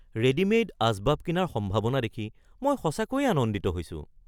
Readymade আচবাব কিনাৰ সম্ভাৱনা দেখি মই সঁচাকৈয়ে আনন্দিত হৈছোঁ।